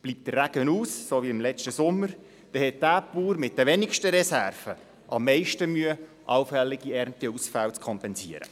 Bleibt der Regen aus, so wie das im letzten Sommer der Fall war, hat derjenige Bauer mit den wenigsten Reserven am meisten Mühe, allfällige Ernteausfälle zu kompensieren.